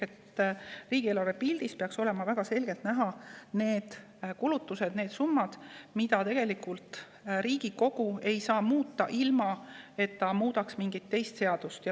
Aga riigieelarves peaks olema väga selgelt näha need kulutused, need summad, mida Riigikogu ei saa muuta ilma, et muudetaks mingit teist seadust.